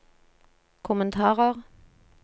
kommentarer